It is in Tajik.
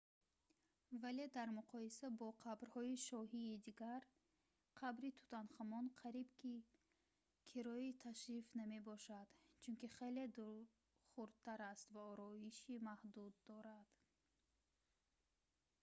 вале дар муқоиса бо қабрҳои шоҳии дигар қабри тутанхамон қариб ки кирои ташриф намебошад чунки хеле хурдтар аст ва ороиши маҳдуд дорад